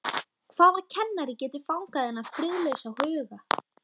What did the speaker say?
Hvaða kennari getur fangað þennan friðlausa huga?